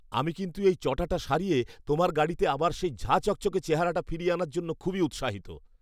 আমি কিন্তু এই চটাটা সারিয়ে তোমার গাড়িতে আবার সেই ঝাঁ চকচকে চেহারাটা ফিরিয়ে আনার জন্য খুবই উৎসাহিত।